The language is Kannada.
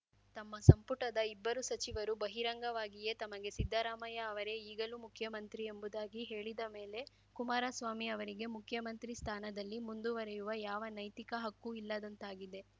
ತಮ್ಮ ಸಂಪುಟದ ಇಬ್ಬರು ಸಚಿವರು ಬಹಿರಂಗವಾಗಿಯೇ ತಮಗೆ ಸಿದ್ದರಾಮಯ್ಯ ಅವರೇ ಈಗಲೂ ಮುಖ್ಯಮಂತ್ರಿ ಎಂಬುದಾಗಿ ಹೇಳಿದ ಮೇಲೆ ಕುಮಾರಸ್ವಾಮಿ ಅವರಿಗೆ ಮುಖ್ಯಮಂತ್ರಿ ಸ್ಥಾನದಲ್ಲಿ ಮುಂದುವರೆಯುವ ಯಾವ ನೈತಿಕ ಹಕ್ಕೂ ಇಲ್ಲದಂತಾಗಿದೆ